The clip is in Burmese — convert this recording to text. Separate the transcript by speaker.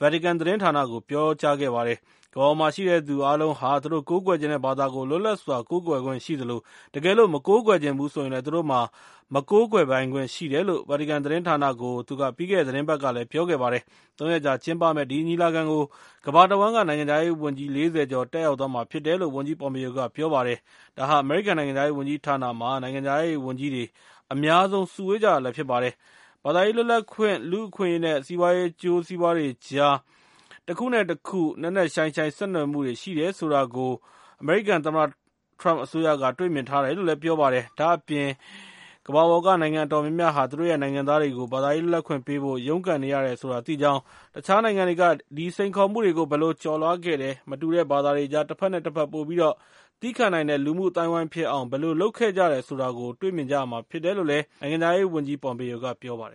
Speaker 1: ဗာတီကန်သတင်းဌာနကို ပြောကြားခဲ့ပါတယ်။ ကမ္ဘာပေါ်မှာရှိတဲ့သူအားလုံးဟာ သူတို့ကိုးကွယ်ချင်တဲ့ဘာသာကို လွတ်လပ်စွာကိုးကွယ်ခွင့်ရှိသလို၊ တကယ်လို့ သူတို့က မကိုးကွယ်ချင်ဘူးဆိုရင်လည်း သူတို့မှာ မကိုးကွယ်ပိုင်ခွင့်ရှိတယ်လို့ ဗာတီကန်သတင်းဌာနကို သူက ပြီးခဲ့တဲ့ သီတင်းပတ်ကလည်း ပြောခဲ့ပါတယ်။ ၃ ရက်ကြာ ကျင်းပမယ့် ဒီညီလာခံကို ကမ္ဘာတဝှမ်းက နိုင်ငံခြားရေးဝန်ကြီး ၄၀ ကျော်တက်ရောက်သွားမှာဖြစ်တယ်လို့ ဝန်ကြီး Pompeo က ပြောပါတယ်။ ဒါဟာ အမေရိကန်နိုင်ငံခြားရေးဝန်ကြီးဌာနမှာ နိုင်ငံခြားရေးဝန်ကြီးတွေ အများဆုံး စုဝေးကြတာလည်း ဖြစ်ပါတယ်။ ဘာသာရေးလွတ်လပ်ခွင့်၊ လူ့အခွင့်အရေး နဲ့ စီးပွားရေးအကျိုးစီးပွားတွေကြား တခုနဲ့တခု နက်နက်ရှိုင်းရှိုင်း ဆက်နွယ်မှုတွေ ရှိတယ်ဆိုတာကို အမေရိကန် သမ္မတထရမ့်အစိုးရက တွေ့မြင်ထားတယ်လို့ ပြောပါတယ်။ ဒါ့အပြင် ကမ္ဘာပေါ်ကနိုင်ငံအတော်များများဟာ သူတို့ရဲ့ နိုင်ငံသားတွေကို ဘာသာရေးလွတ်လပ်ခွင့်ပေးဖို့ ရုန်းကန်နေရတယ်ဆိုတာ သိကြောင်း၊ တခြားနိုင်ငံတွေက အဲဒီစိန်ခေါ်မှုတွေကို ဘယ်လိုကျော်လွှားခဲ့တယ်၊ မတူတဲ့ဘာသာတွေကြား တဘက်နဲ့တဘက် ပိုပြီးတော့ သည်းခံနိုင်တဲ့ လူမှုအသိုင်းအဝိုင်းဖြစ်အောင် ဘယ်လို လုပ်ခဲ့ကြတယ်ဆိုတာကို တွေ့မြင်ရမှာဖြစ်တယ်လို့ နိုင်ငံခြားရေးဝန်ကြီး Pompeo က ပြောပါတယ်